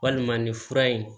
Walima nin fura in